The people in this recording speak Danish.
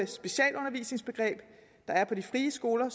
specialundervisningsbegreb der er på de frie skoler